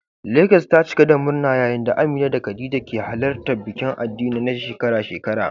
Legas ta cika da murna yayin da Amina da Khadija ke halartar bikin addini na shekara-shekara.